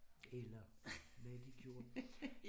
Eller hvad de gjorde